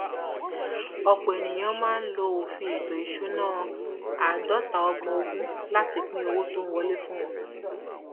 ọpọ èèyàn máa ń lo òfin ètò ìṣúná àádọtaọgbọnogún láti pín owó tó ń wọlé fún wọn